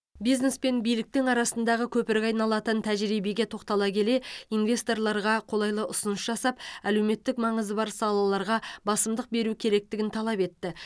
бизнес пен биліктің арасындағы көпірге айналатын тәжірибеге тоқтала келе инвесторларға қолайлы ұсыныс жасап әлеуметтік маңызы бар салаларға басымдық беру керектігін талап етті